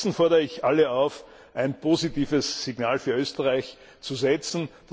Stattdessen fordere ich alle auf, ein positives Signal für Österreich zu setzen.